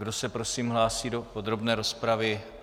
Kdo se prosím hlásí do podrobné rozpravy?